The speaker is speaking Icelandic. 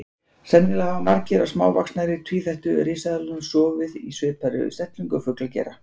Sennilega hafa margar af smávaxnari tvífættu risaeðlunum sofið í svipaðri stellingu og fuglar gera.